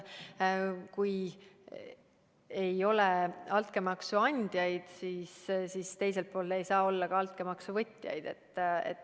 Kui ei ole altkäemaksu andjaid, siis ei saa olla ka altkäemaksu võtjaid.